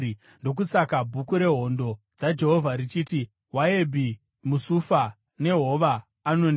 Ndokusaka Bhuku reHondo dzaJehovha richiti: “Wahebhi muSufa nehova, Anoni